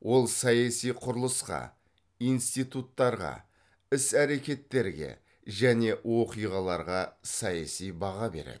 ол саяси құрылысқа институттарға іс әрекеттерге және оқиғаларға саяси баға береді